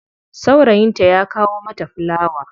Saurayinta ya kawo mata fulawa.